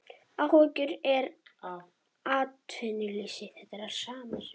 Áhyggjur af atvinnuleysinu